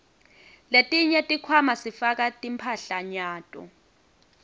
letinye tikhwama sifaka timphahlanyato